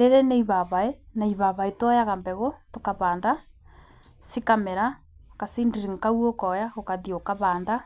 Rĩrĩ nĩ ibabaĩ, na ibabaĩ to yaga mbegũ tũkavanda, cikamera, ga seedling kau ũkoya ũgathiĩ ũkavanda.